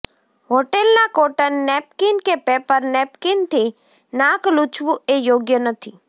હોટેલના cotton napkin કે paper નેપકીનથી નાક લૂછવું એ યોગ્ય નથી